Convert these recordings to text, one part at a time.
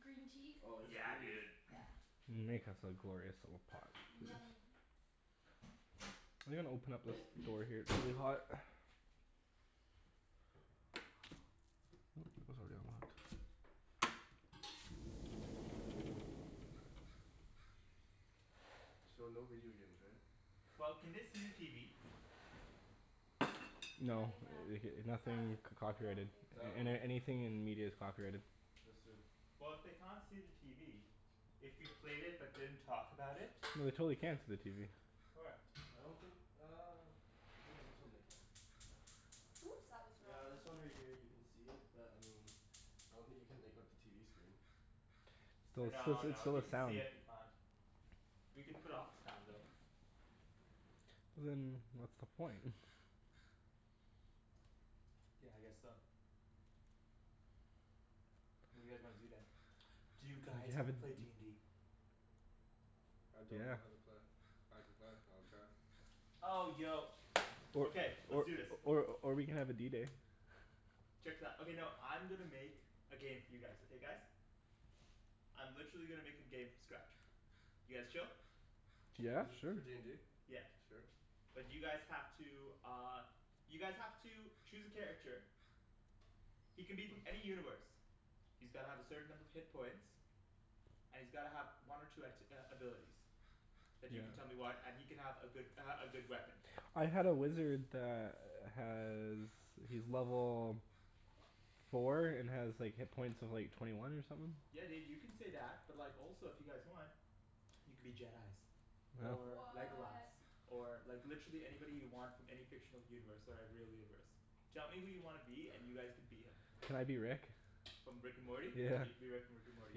green tea? Oh, yes Yeah please. dude. Yeah. Make us a glorious little pot please. Yummy. I'm gonna open up this door here, it's really hot. So no video games, right? Well, can they see the TV? No No they can't. Uh. nothing c- copyrighted. That one. Any- anything in media is copyrighted. Just in. Well if they can't see the TV. If we played it but didn't talk about it. No they totally can see the TV. Where? I don't think uh I think on this one they can. Oops, that was the wrong Yeah, one. this one right here you can see it, but I mean I don't think you can make out the TV screen. But it's still No it's no. If still, you there's can see sound. it, we can't. We can put off the sound though. But then what's the point? Yeah I guess so. What do you guys wanna do then? Do you You guys wanna haven't play d n d? I don't know Yeah. how to play. I can play. I'll try. Oh yo. Or Okay, let's or do this. or or we can have a D day. Check this out. Okay no, I'm gonna make a game for you guys, okay guys? I'm literally gonna make a game from scratch. You guys chill? Yeah Is it sure. for d n d? Yeah. Sure. But you guys have to uh you guys have to choose a character. He can be from any universe. He's gotta have a certain number of hit points. And he's gotta have one or two act- uh abilities. And you can tell me Yeah. what and he can have a good uh a good weapon. I had a wizard that has, he's level four and has like hit points of like twenty one or somethin'. Yeah dude, you can say that. But like also if you guys want you can be Jedis. Or Legolas. What! Or like literally anybody you want from any fictional universe or real universe. Tell me who you wanna be and you guys can be him. Can I be Rick? From Rick and Morty? Yeah. You can be Rick from Rick and Morty.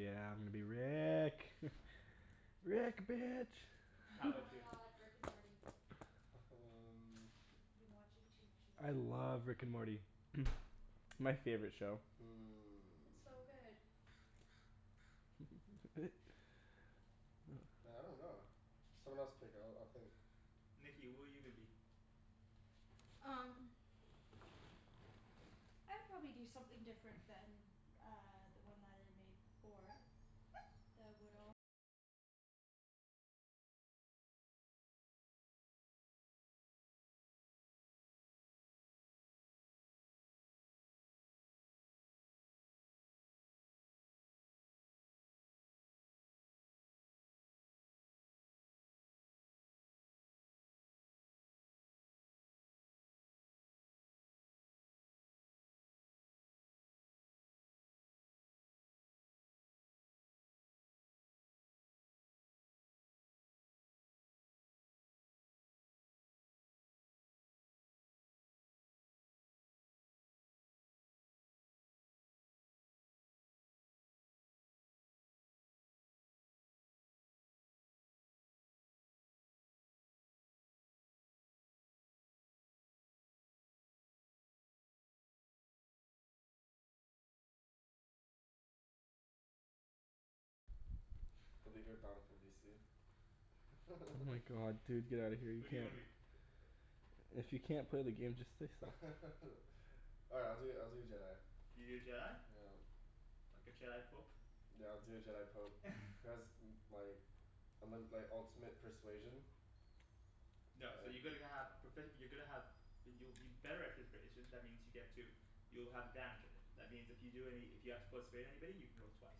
Yeah I'm gonna be Rick. Rick, bitch. How Oh 'bout Oh. my you? god. Rick and Morty. um I've been watching too much of I that love Rick and Morty. My favorite show. It's so good. Hmm Man I dunno. Someone else pick, I'll I'll think. Nikki, who are you gonna be? Um The leader of Oh my god dude, get out of here. You Who do you can't wanna be? If you can't play the game just say so. Alright I'll do I'll do a Jedi. You do a Jedi? Yeah. Like a Jedi pope? Yeah I'll do a Jedi pope. Cuz like and then like ultimate persuasion. No, so you're going to have profe- you're gonna have you'll you're better at persuasion. That means you get to you'll have advantage of it. That means if you do any, if you have to persuade anybody you can roll twice.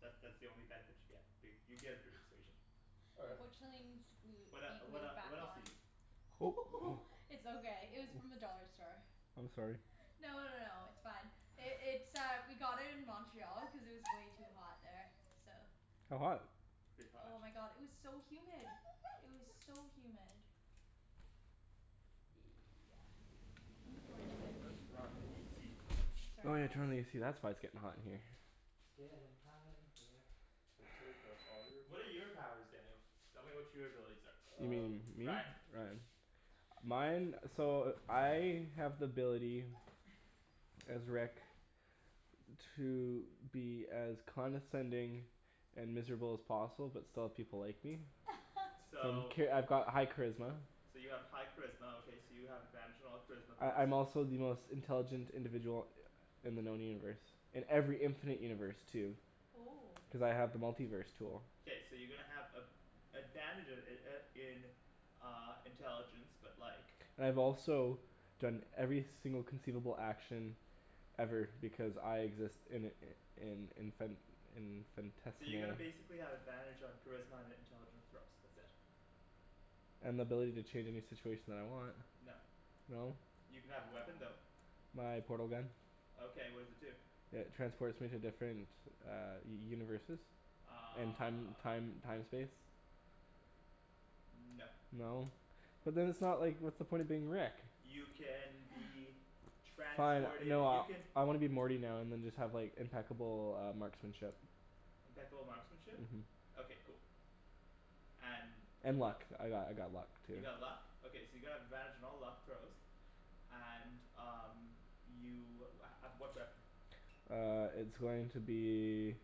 That that's the only benefit you get, but you get a persuasion. All right. Unfortunately it needs to glue What it uh be what uh glued back what else are on. you? It's okay, it was from the dollar store. I'm sorry. No no no no, it's fine. It's uh we got it in Montreal because it was way too hot there, so How hot? Pretty hot. Oh my god, it was so humid! It was so humid. Yeah, Let's unfortunately. put on the AC. Sorry Oh yeah guys. turn on the AC, that's why it's getting hot in here. It's gettin' hot in here. So take off all your What are your clothes. powers, Daniel? Tell me what your abilities are. You Um mean me? Ryan Ryan. Mine, so I have the ability as Rick to be as condescending and miserable as possible, but still have people like me. So Okay, I've got high charisma. So you have high charisma okay, so you have advantage on all charisma corrals I'm also the most intelligent individual in the known universe. In every infinite universe too. Oh Cuz I have the multi-verse tool. K, so you're gonna have a- advantage uh uh in uh intelligence but like And I've also done every single conceivable action ever because I exist in in infin- So you're gonna infinitesimal basically have advantage on charisma and it intelligent throws. That's it. And the ability to change any situation that I want. No. No. You can have a weapon Aw though. My portal gun. Okay, what does it do? It transports me to different universes and time Uh time time space. No. No? But then it's not like, what's the point of being Rick? You can be Fine transported. no, You I can I wanna be Morty now and then just have impeccable uh marksmanship. Impeccable marksmanship? Mhm. Okay cool. And And what else? luck. I got I got luck too. You got luck? Okay so you're gonna have advantage on all luck throws. And um you uh uh what weapon? Uh it's going to be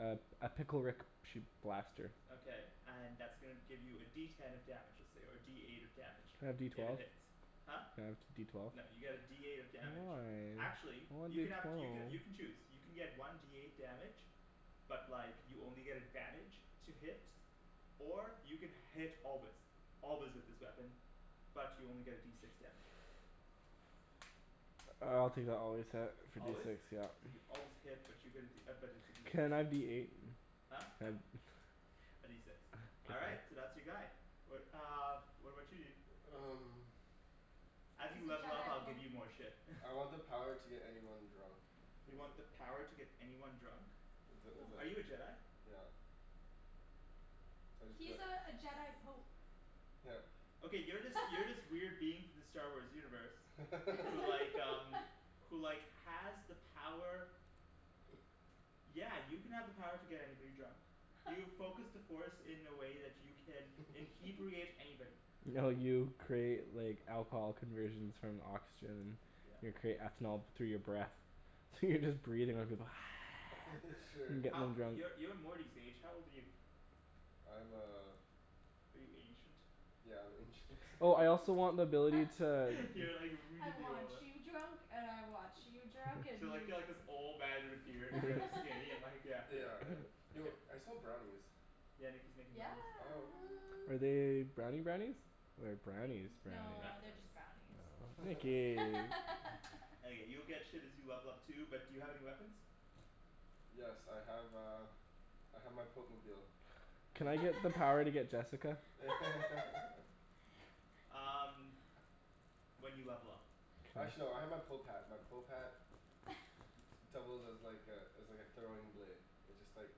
a a pickle Rick shoot blaster. Okay and that's gonna give you a D ten of damage, let's say, or a D eight of damage. Can I have D If it twelve? hits. Huh? Can I have D twelve? No, you get a D eight of damage. Why? Actually, I you wanted can to have throw. you can you can choose. You can get one D eight damage But like you only get advantage to hit or you can hit always. Always with this weapon, but you only get a D six damage. I'll take the always hit for D Always? six yep. So you always hit, but you get a D but it's a D six. Can I be eight? Huh? No. Can A D six. All right, so that's your guy. What uh what about you dude? Um As you He's a level up Jedi I'll give pope. you more shit I want the power to get anyone drunk. Is You it want the power to get anyone drunk? Is it is Are you a it, Jedi? yep So I just go He's like uh a Jedi pope. Yep. Okay, you're this you're this weird being from the Star Wars universe who like um who like has the power Yeah, you can have the power to get anybody drunk. You've focused the force in a way that you can "inhebriate" anybody. No you create like alcohol conversions from oxygen. Your Yeah. create ethanol through your breath. So you're just breathin' out you go Sure. and gettin' How, 'em drunk. you're you're Morty's age. How old are you? I'm uh Are you ancient? Yeah, I'm ancient. Oh I also want the ability to You're like "I really want old you huh drunk and I want you drunk, and You're like you you're like drunk." this old man with a beard and really skinny and like yeah. Yeah, yeah. Yo, I smell brownies. Yeah, Nikki's making Yeah. brownies. Oh what. Are they brownie brownies or brownie's brownie? No, Brownie they're brownies. just brownies. Aw, Nikki. Okay, you'll get shit as you level up too, but do you have any weapons? Yes I have uh I have my pope-mobile. Can I get the power to get Jessica? Um When you level up. K. Actually, no I have my pope hat. My pope hat d- d- doubles as like a as like a throwing blade. It just like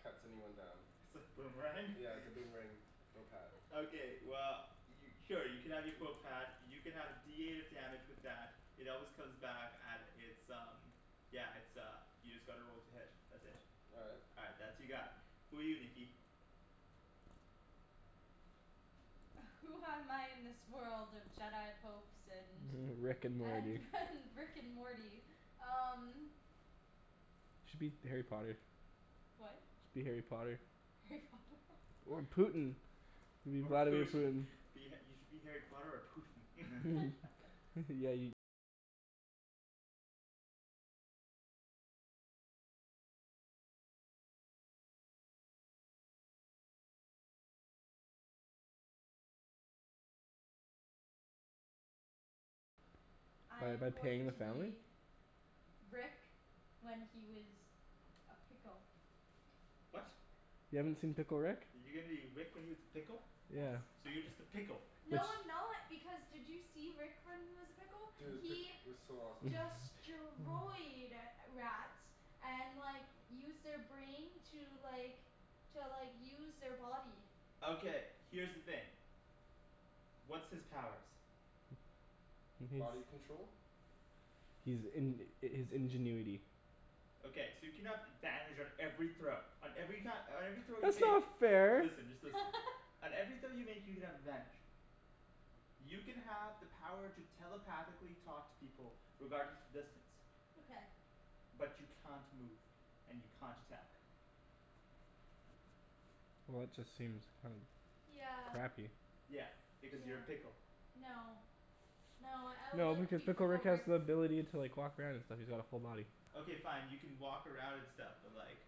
cuts anyone down. It's a boomerang? Yeah, it's a boomerang pope hat. Okay well, y- oh you can have your pope hat. You can have a D eight of damage with that. It always comes back and it's um yeah, it's uh, you just gotta roll to hit. That's it. All right. All right, that's your guy. Who are you, Nikki? Who am I in this world of Jedi popes and Rick and Morty. and and Rick and Morty? Um Should be Harry Potter. What? Should be Harry Potter. Harry Potter? Or Putin. Be Or Vladimir Putin. Putin. You should be Harry Potter or Putin. I By the, am by paying going the to family? be Rick when he was a pickle. What? You haven't seen Pickle Rick? You're gonna be Rick when he was a pickle? Yes. Yeah. So you're just a pickle. It's No I'm not, because did you see Rick when he was a pickle? Dude, pi- He it was so awesome. destroyed rats and like used their brain to like to like use their body. Okay, here's the thing. What's his powers? Body control. He's in- his ingenuity. Okay, so you can have advantage on every throw on every ki- on every throw you That's make. not fair! Listen, just listen. On every throw you make you can have advantage. You can have the power to telepathically talk to people regardless of distance. Okay. But you can't move, and you can't attack. Well that just seems kind of Yeah. crappy. Yeah, because you're Yeah. a pickle. No. No, I would No like to because be Pickle Pickle Rick has Rick. the ability to like walk around and stuff. He's all full body. Okay fine, you can walk around and stuff, but like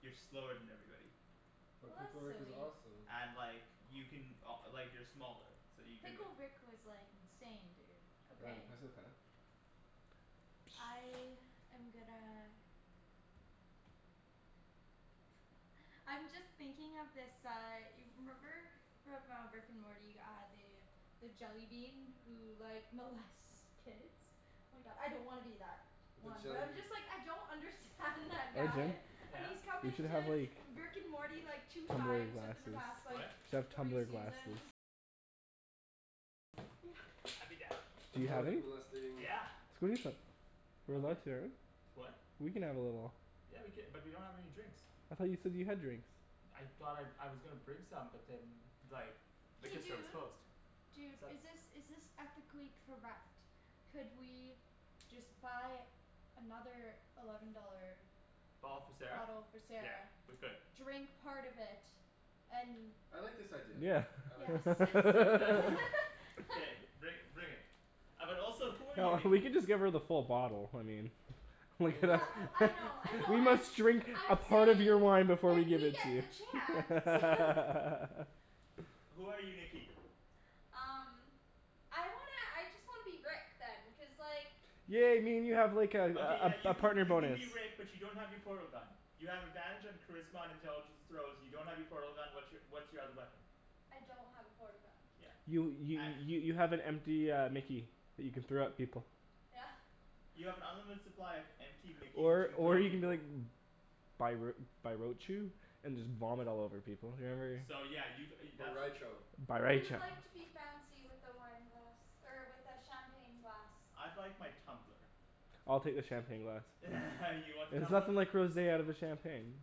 you're slower than everybody. But Well, Pickle that's Rick is silly. awesome. And like you can o- like you're smaller so you can Pickle Rick was like insane, dude, Ryan, okay. pass me the fan? I am gonna I'm just thinking of this uh y- remember from uh Rick and Morty uh the the jellybean who like molests kids The jellybeans Arjan, Yeah you should have like What? Yeah. I'd be down. Do And you mole- have any? molesting Yeah. Let's go eat them. We're Okay. allowed sharing? What? We can have a little Yeah we cou- but we don't have any drinks. I thought you said that you had drinks. I thought I, I was gonna bring some but then like Hey liquor store was dude, closed. dude is Sup? this is this ethically correct? Could we just buy another eleven dollar Bottle for Sarah? bottle for Yeah Sarah, we could. drink part of it, and I like this idea. Yeah. I like Yes this idea. Let's do it. K, bring bring it. Uh but also who are you No we Nikki? can just give her the full bottle, I mean I We mean gonna Yeah oh I know I we know, I'm must drink a I'm part of saying your wine before we if give we it get to you the chance no Who are you Nikki? Um I wanna, I just wanna be Rick then, cuz like Yeah I mean you have like Okay yeah a a you a can partner you can bonus. be Rick but you don't have your portal gun. You have advantage on charisma and intelligence throws, you don't have your portal gun, what's your what's your other weapon? I don't have a portal gun. Yeah. You y- y- you have an empty uh mickey that you can throw at people. Yeah. You have an unlimited supply of empty mickeys that you Or can throw or at you can be people. like and just vomit all over people. Or whatever. So yeah you g- uh you that's what- Who would like to be fancy with the wine glass er with the champagne glass? I'd like my tumbler. I'll take the champagne glass. You want the There's tumbler? nothing like rosé out of a champagne.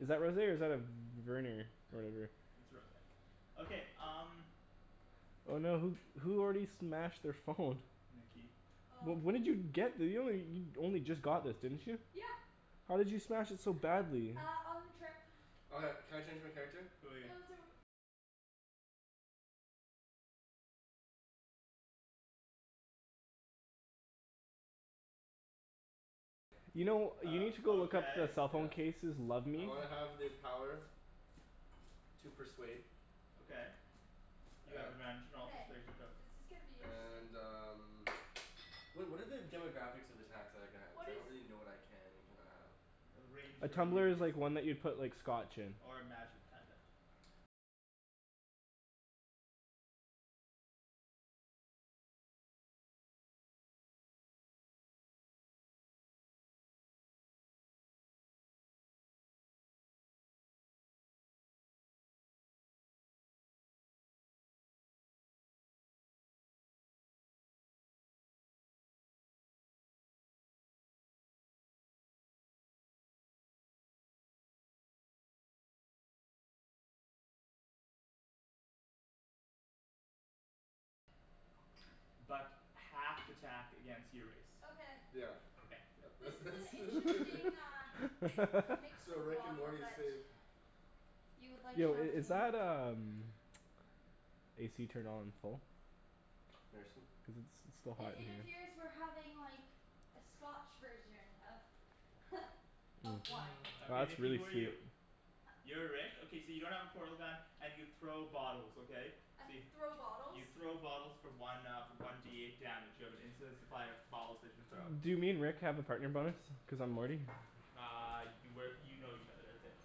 Is that rosé or is that a v- v- vernier whatever? It's rosé. Okay, um Oh no, who who already smashed their phone? Nikki. Oh Wh- when did me. you get this? You only you only just got this didn't you? Yeah. How did you smash it so badly? Uh on the trip. Okay, can I change my character? Who are you? You know you Uh, need to go look at the okay. cell phone Yeah. cases "Love I me." wanna have the power to persuade Okay, you have advantage on all Okay, persuasion throws. this is gonna be interesting. and um Wha- what are the demographics of attacks that I can have? Cuz What I is don't really know what I can and cannot have. It'll rain A here tumbler is immediately. like one that you put like scotch in. Or magic, kinda but half th- attack against your race Okay. Yeah. Okay, yeah. This That's is that's an that's interesting perfect uh mix Yo, of a Rick and bottle Morty is but safe. You would like Yo i- is champagne that um AC turned on full? Merci. Cuz it's it's still I- hot in It here. appears we're having like a scotch version of of wine. Okay That's Nikki really who are you? sleep. You're Rick? Okay so you don't have a portal gun and you throw bottles, okay? So you Throw bottles? You throw bottles for one uh one D eight damage. You have an infinite supply of bottles that you throw. Do me and Rick have a partner bonus cuz I'm Morty? Uh you work, you know each other, that's it.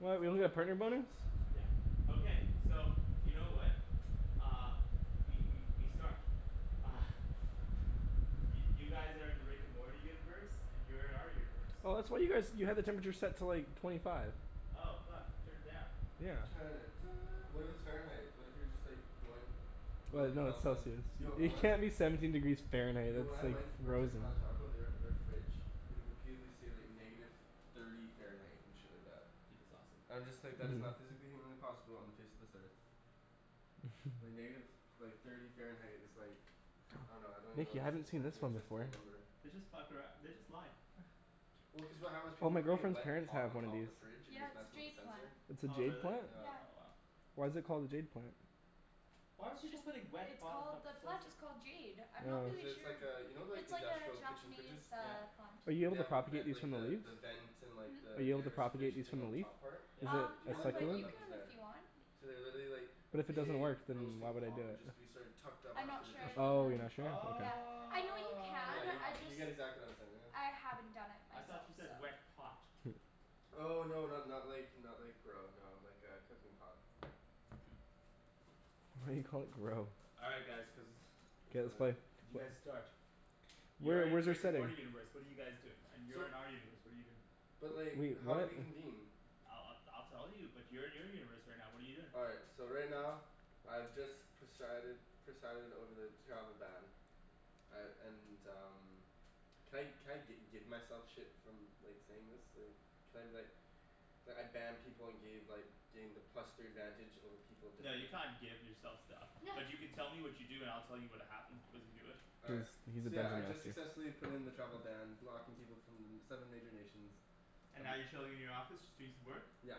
What? We don't get a partner bonus? Yeah. Okay, so you know what? Uh, we we we start. Uh Y- you guys are in the Rick and Morty universe, and you're in our universe. Oh that's what you guys you had the temperature set to like twenty five. Oh fuck. Turn it down. Yeah. Turn it do- what if it's Fahrenheit? What if you're just like going below Well the no, it's confines, Celcius. yo I You wan- can't be seventeen degrees Fahrenheit; Yo when I that's like went worked at frozen. Taco they are their fridge would repeatedly say like negative thirty Fahrenheit and shit like that. That's awesome. I'm just like, that is not physically humanly possible on the face of this earth. Like negative, like thirty Fahrenheit is like I dunno, I don't even know how Nikki, to I say, hadn't seen like an this one before. inexistable number. They just fuck arou- they just lie Well cuz of how those people Oh were my putting girlfriend's wet parents pot have on one of top of these. the fridge and it Yeah was it's a messing with the jade plant. sensor. It's a Oh jade really? plant? Yeah. Oh wow. Why is it called a jade plant? Why would you go Just putting wet it's pot on top called, of the a plant sensor? is called jade. I'm not Cuz Oh. really it's sure. like uh, you know like It's like a industrial kitchen Japanese fridges? Yeah. uh plant. Are you Way, able they to have the ven- propagate these like from the the leaves? the vent and Hmm? Are the you able to air propagate circulation these thing from on a the leaf? top part? Is Yeah. Um it People no a didn't know second but that you one? that was can if there. you want. So they literally like, a But if it doesn't big work then why roasting would I do pot would it? just be sort of tucked up I'm after not the sure dish if you pit. Oh, you're can. not Oh sure? Okay. Yeah. I know you Yeah can, y- I wow. you just, get exactly what I'm saying now. I haven't done it I thought myself, you so said "wet pot". Oh no not not like not like grow, no. Like a cooking pot. Why do you call it grow? All right guys. Cuz it's K, let's play. bad. You guys start. You're Where in the where's our Rick and setting? Morty universe, what are you guys doing? And you're So in our universe, what are you doing? But like, Wait, how do what? we convene? I'll I'll I'll tell you, but you're in your universe right now, what are you doing? All right, so right now, I've just presided presided over the travel ban. I and um Can I can I gi- give myself shit from like saying this? Like, can I be like like I ban people and gave like gain the plus three advantage over people No, you definitive can't give yourself stuff, but you can tell me what you do and I'll tell you what happened as you do it. All right, Cuz he's a so yeah I dungeon just master. successfully put in the travel ban, blocking people from them seven major nations. And Um now you're chilling in your office just doing some work? Yeah.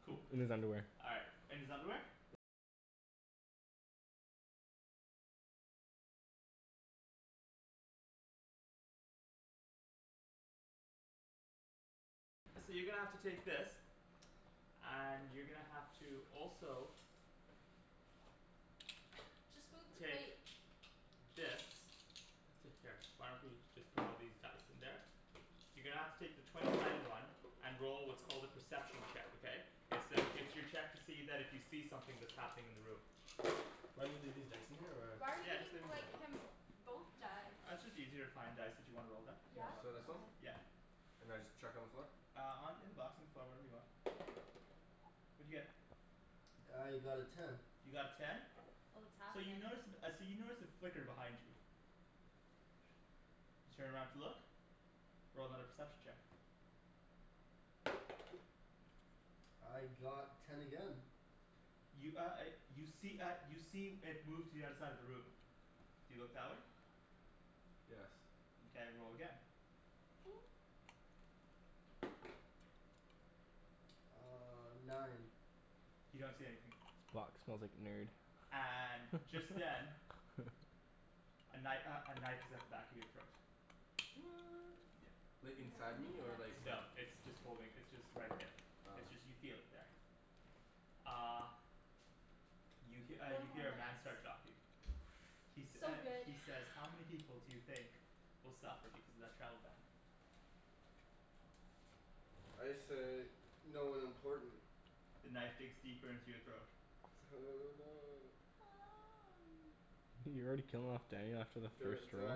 Cool. In his underwear. All right, in his underwear? And you're gonna have to also Just move the take plate. this. That's it here. Why don't we just put all these dice in there. You're gonna have to take the twenty sided one and roll what's called a perception check, okay? It's to it's your check that if you see something that's happening in the room. Do I need to leave these dice in here or? Why are you Yeah, just leave giving them in there. like him both die? Uh it's just easier to find dice that you wanna roll then. You have Yeah? a lot of So this one? choices. Okay. Yeah. And I just chuck on the floor? Uh on in the box in the floor, wherever you want. What'd you get? I got a ten. You got a ten? Oh it's So you happenin' notice uh so you notice a flicker behind you. You turn around to look. Roll another perception check. I got ten again. You uh uh you see uh you see it move to the other side of the room. Do you look that way? Yes. Mkay, roll again. Uh nine. You don't see anything. This box smells like nerd. And just then A kni- uh a knife is at the back of your throat. What! Yeah. Like, I wonder how inside many me or minutes. like there? No. It's just holding, it's just right there. Ah. It's just you feel it there. Uh You he- uh Four you more hear a man minutes. start talking. He sa- So uh good. he says "How many people do you think will suffer because of that travel ban?" I say "no one important." The knife digs deeper into your throat. Oh no. You're already killing off Daniel after the first roll?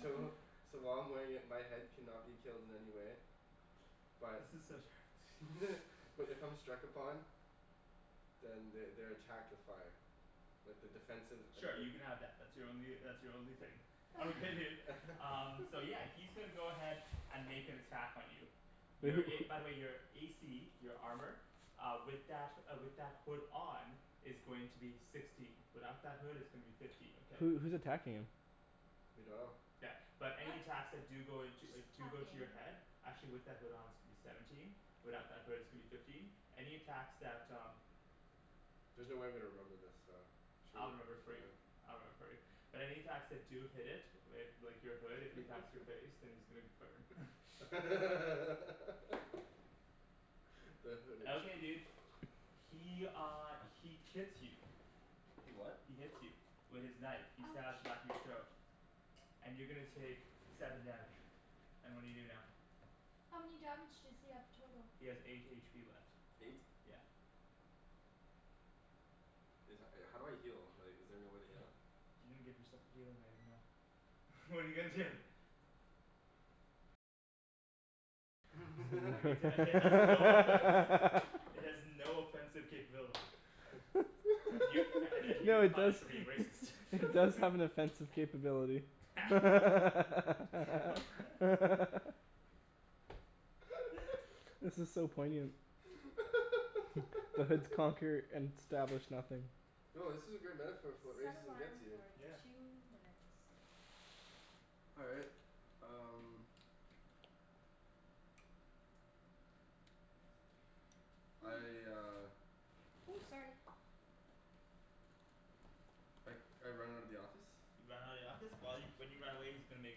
So so while I'm wearing it my head cannot be killed in any way. But This is so terrible but if I'm struck upon Then they they're attacked with fire. Like the defensive abil- Sure, you can have that. That's your only uh that's your only thing. Okay dude, um so yeah he's gonna go ahead and make an attack on you. Wait, Your who a, by wh- the way your a c, your armor Uh with that uh with that hood on is going to be sixteen. Without that hood it's going to be fifteen, okay? Who who's attacking him? We dunno. Yeah, but any attacks that do go into uh Just do go to attacking. your head actually with that hood on is going to be seventeen, without that hood it's gonna be fifteen. Any attacks that um There's no way I'm gonna remember this so should I'll remember it for we you, uh I'll remember it for you. But any attacks that do hit it with like your hood, if he attacks your face, then he's gonna burn the hooded Okay, dude. He uh he kits you. He what? He hits you. With his knife. He stabs the Ouch. back of your throat. And you're gonna take seven damage. And what do you do now? How many damage does he have total? He has eight h p left. Eight. Yeah. Is that, uh how do I heal? Like, is there no way to heal? You didn't give yourself a healing item though. What're you gonna do? Like it uh it has no effect It has no offensive capability. Y- and and you No get it does punished for being racist it does have an offensive capability This is so poignant. The hoods conquer and establish nothing. Yo, this is a great metaphor for what Set racism gets alarm you. for two minutes. All right, um I uh Ooh, sorry. I I run out of the office You run out of the office? While you, when you run away he's gonna make